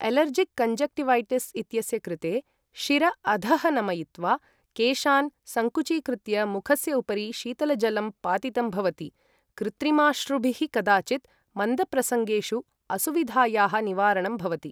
Allergic conjunctivitis इत्यस्य कृते, शिर अधः नमयित्वा केशान् सङ्कुचीकृत्य मुखस्य उपरि शीतलजलं पातितं भवति, कृत्रिमाश्रुभिः कदाचित् मन्दप्रसङ्गेषु असुविधायाः निवारणं भवति।